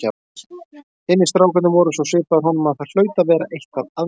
Hinir strákarnir voru svo svipaðir honum að það hlaut að vera eitthvað að mér!